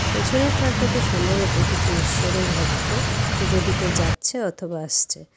পেছনের ট্রাকটাতে সম্ভবত কিছু ঈশ্বরের ভক্ত পুজো দিতে যাচ্ছে অথবা আসছে।